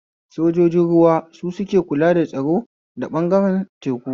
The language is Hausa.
Sojojin ruwa su suke kula da tsaro ta ɓangaren teku